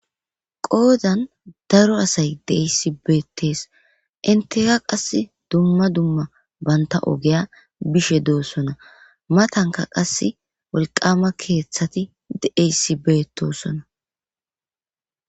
qoodan daro asay deeyssi beettes inteka qass dumma dumma banta ogeya bishe doossona matanka qas wolqama keeththati deeyssi beettosona